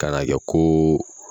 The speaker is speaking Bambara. Ka n'a kɛ ko